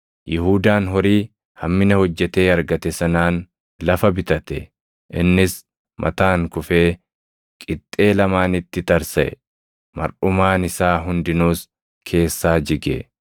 Yihuudaan horii hammina hojjetee argate sanaan lafa bitate; innis mataan kufee qixxee lamaanitti tarsaʼe; marʼumaan isaa hundinuus keessaa jige.